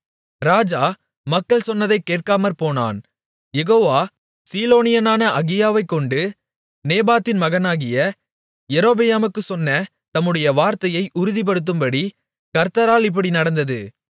ராஜா மக்கள் சொன்னதைக் கேட்காமற்போனான் யெகோவா சீலோனியனான அகியாவைக்கொண்டு நேபாத்தின் மகனாகிய யெரொபெயாமுக்குச் சொன்ன தம்முடைய வார்த்தையை உறுதிப்படுத்தும்படி கர்த்தரால் இப்படி நடந்தது